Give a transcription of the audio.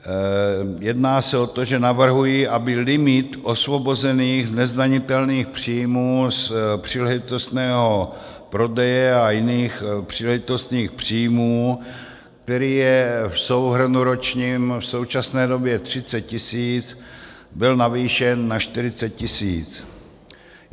Jedná se o to, že navrhuji, aby limit osvobozených nezdanitelných příjmů z příležitostného prodeje a jiných příležitostných příjmů, který je v souhrnu ročním v současné době 30 tisíc, byl navýšen na 40 tisíc.